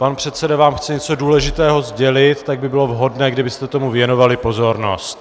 Pan předseda vám chce něco důležitého sdělit, tak by bylo vhodné, kdybyste tomu věnovali pozornost.